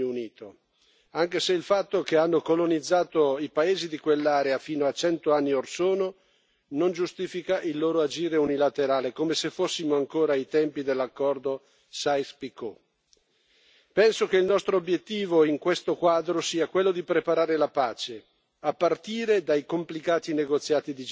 Non sono sorpreso dal protagonismo di Francia e Regno Unito, anche se il fatto che hanno colonizzato i paesi di quell'area fino a cento anni or sono non giustifica il loro agire unilaterale, come se fossimo ancora ai tempi dell'accordo Sykes Picot. Penso che il nostro obiettivo, in questo quadro, sia quello di preparare la pace,